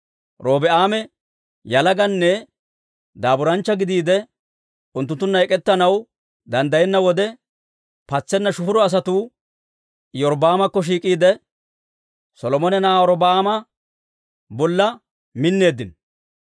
Robi'aame yalaganne daaburaanchcha gidiide, unttunttunna ek'ettanaw danddayenna wode, patseena shufuro asatuu Iyorbbaamekko shiik'iide, Solomone na'aa Robi'aama bolla minneeddino.